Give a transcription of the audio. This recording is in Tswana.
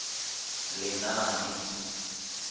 lenaane